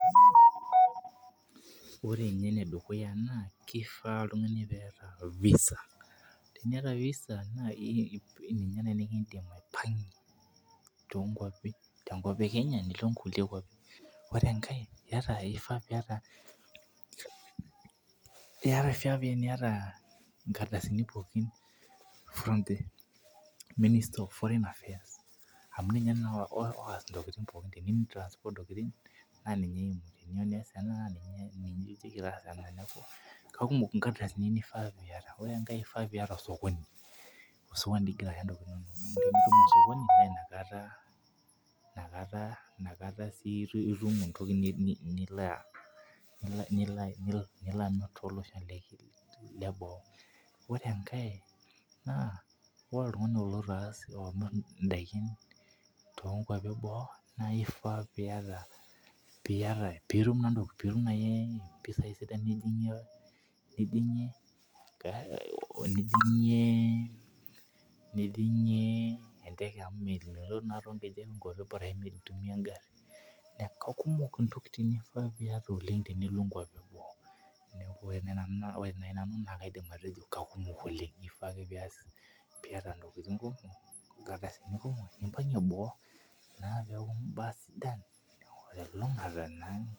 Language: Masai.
Ore nye enedukuya na kifaa oltungani peeta visa teniata visa na ninye nai nikindim aipangie tenkop ekenya nilo enkae kop ore enkae kifaa piata nkardasini pooki from the ministry of foreign affairs amu ninye oas ntokitin pooki kakumok nkeadasini nifaa piata na inakata sinirim entoki nilobamir tolosho le boo ore enkae ore oltungani oloitobamir endaa tonkwapi eboo na ifaa piata mpisai sidan nijingie enteke amu mintumia engari kakumok ntokitin naifaa piata tenilo nkwapi eboo ore nanu na kaidim atejo kakumok oleng ifaa ake piata nkardasini kumok nimpangie boo peaku mbaa sidain telulungata